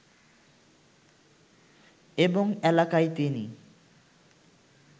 এবং এলাকায় তিনি